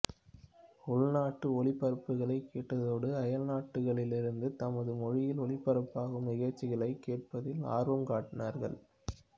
உள்நாட்டு ஒலிபரப்புகளைக் கேட்டதோடு அயல் நாடுகளிலிருந்து தமது மொழியில் ஒலிபரப்பாகும் நிகழ்ச்சிகளைக் கேட்பதில் ஆர்வம் காட்டினார்கள்